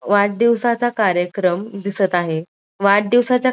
वाढदिवसाचा कार्यक्रम दिसत आहे वाढदिवसाच्या --